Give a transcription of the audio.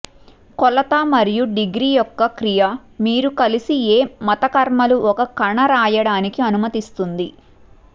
కొలత మరియు డిగ్రీ యొక్క క్రియా మీరు కలిసి ఏ మతకర్మలు ఒక కణ రాయడానికి అనుమతిస్తుంది